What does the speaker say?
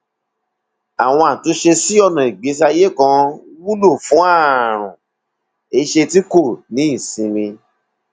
àwọn àtúnṣe sí ọnà ìgbésí ayé kan wúlò fún àrùn ẹsẹ tí kò ní ìsinmi